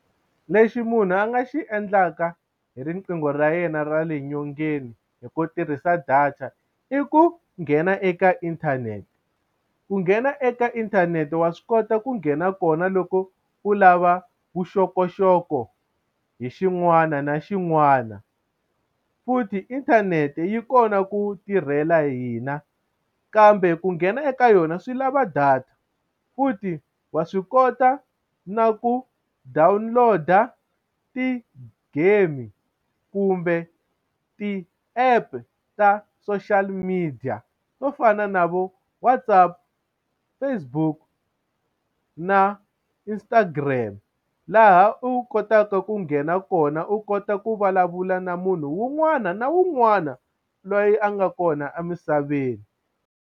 Lexi munhu a nga xi endlaka hi riqingho ra yena ra le nyongeni hi ku tirhisa data i ku nghena eka inthanete ku nghena eka inthanete wa swi kota ku nghena kona loko u lava vuxokoxoko hi xin'wana na xin'wana futhi inthanete yi kona ku tirhela hina kambe ku nghena eka yona swi lava data futhi wa swi kota na ku download-a ti-game kumbe ti-app ta social media to fana na vo WhatsApp, Facebook na Instagram laha u kotaka ku nghena kona u kota ku vulavula na munhu wun'wana na wun'wana loyi a nga kona emisaveni.